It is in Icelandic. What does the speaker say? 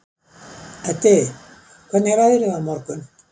Eddi, hvernig er veðrið á morgun?